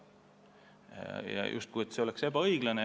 See oli justkui ebaõiglane.